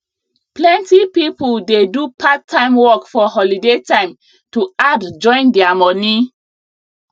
plenty people dey do part time work for holiday time to add join their money